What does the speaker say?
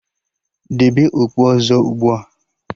Debe okpu ọzọ ugbua!